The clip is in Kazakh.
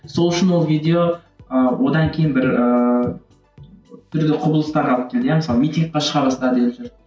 сол үшін ол видео ы одан кейін бір ііі түрлі құбылыстар алып келді иә мысалы митингке шыға бастады ел жұрт